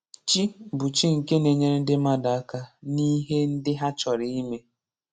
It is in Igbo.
Chi bụ chi nke na-enyere ndị mmadụ aka n'ihe ndị ha chọrọ ime.